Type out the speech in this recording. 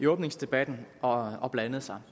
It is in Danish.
åbningsdebatten og og blandede sig